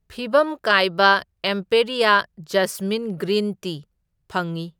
ꯐꯤꯚꯝ ꯀꯥꯏꯕ Emperia jasmine green tea ꯐꯪꯢ꯫